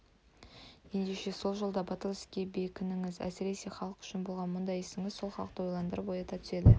ендеше сол жолда батыл іске бекіңіз есіресе халық үшін болған мұндай ісіңіз сол халықты ойландырып оята түседі